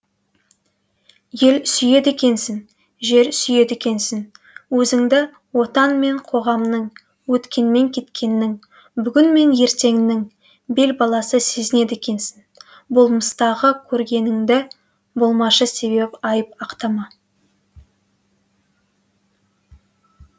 ел сүйеді екенсің жер сүйеді екенсің өзіңді отан мен қоғамның өткенмен кеткеннің бүгін мен ертеңнің бел баласы сезінеді екенсің болмыстағыкөргеніңді болмашы себеп айтып ақтама